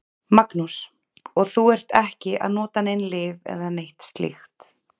Magnús: Og þú ert ekki að nota nein lyf eða neitt slíkt?